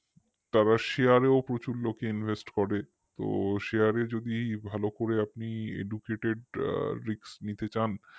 তারা share এও প্রচুর লোক invest করে তো share এ যদি ভালো করে আপনি educatedrisk নিতে চান